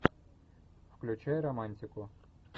включай романтику